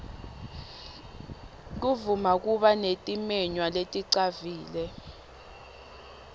kuvama kuba netimenywa leticavile